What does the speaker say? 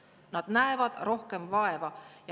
Nad näevad rohkem vaeva.